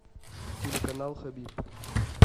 телеканал хабиб